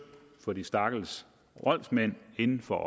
for de stakkels voldsmænd end for